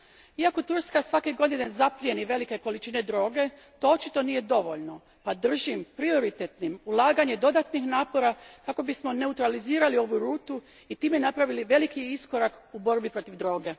Iako Turska svake godine zaplijeni velike količine droge, to očito nije dovoljno, pa držim prioritetnim ulaganje dodatnih napora kako bismo neutralizirali ovu rutu i time napravili veliki iskorak u borbi protiv droge.